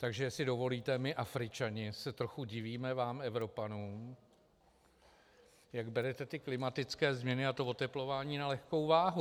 Takže jestli dovolíte, my Afričané se trochu divíme vám Evropanům, jak berete ty klimatické změny a to oteplování na lehkou váhu.